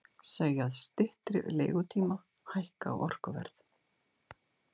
Segja styttri leigutíma hækka orkuverð